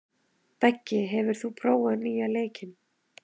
Beggi, hefur þú prófað nýja leikinn?